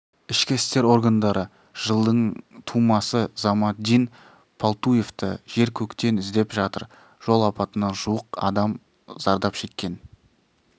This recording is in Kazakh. ішкі істер органдары жылдың тумасы замандин палтуевті жер-көктен іздеп жатыр жол апатынан жуық адам зардап шеккен